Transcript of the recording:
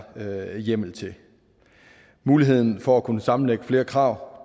hjemmel til muligheden for at kunne sammenlægge flere krav